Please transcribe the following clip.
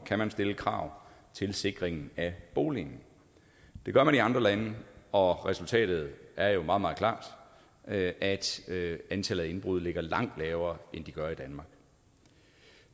kan stille krav til sikringen af boligen det gør man i andre lande og resultatet er jo meget meget klart at at antallet af indbrud ligger langt lavere end